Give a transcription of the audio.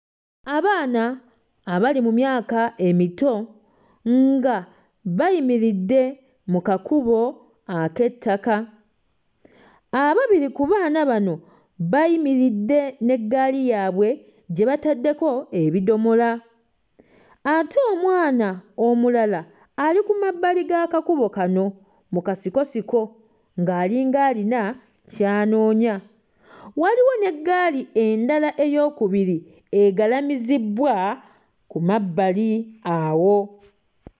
Abaana abali mu myaka emito nga bayimiridde mu kakubo ek'ettaka. Ababiri ku baana bano bayimiridde n'eggaali yaabwe gye bataddeko ebidomola, ate omwana omulala ali ku mabbali g'akakubo kano ng'alinga alina ky'anoonya. Waliwo n'eggaali endala eyookubiri egalamiziddwa ku mabbali awo.